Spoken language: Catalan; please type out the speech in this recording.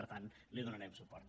per tant hi donarem suport